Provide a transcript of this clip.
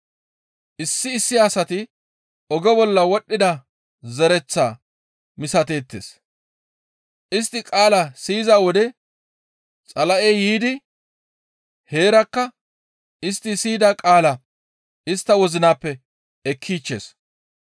Issi issi asati oge bolla wodhdhida zereththaa misateettes; istti qaala siyiza wode Xala7ey yiidi heerakka istti siyida qaalaa istta wozinappe ekkichchees.